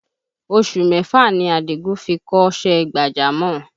Oṣù mẹ́fà ni Àdìgún fi kọ́ṣẹ́ gbàjámọ̀